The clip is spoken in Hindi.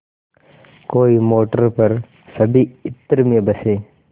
कोई मोटर पर सभी इत्र में बसे